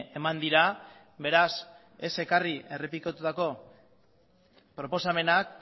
eman dira beraz ez ekarri errepikatutako proposamenak